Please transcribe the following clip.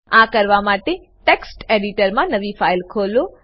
આ કરવા માટે ટેક્સ્ટ એડિટરમા નવી ફાઈલ ખોલો